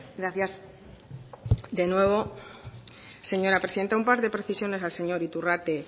gracias de nuevo señora presidenta un par de precisiones al señor iturrate